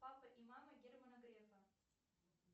папа и мама германа грефа